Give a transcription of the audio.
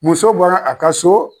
Muso bɔra a ka so